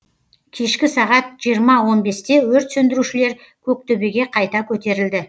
кешкі сағат жиырма он бесте өрт сөндірушілер көк төбеге қайта көтерілді